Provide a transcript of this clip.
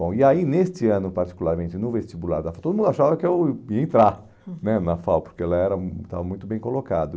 Bom, e aí, neste ano, particularmente, no vestibular da, todo mundo achava que eu ia entrar, uhum, né na FAO, porque ela era um estava muito bem colocado.